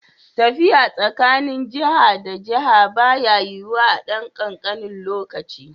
Tafiya tsakanin jiha da jiha baya yiwuwa a ɗan kankanin lokaci.